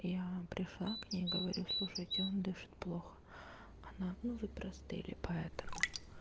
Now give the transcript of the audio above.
я пришла к ней говорю слушайте он дышит плохо она ну вы простыли поэтому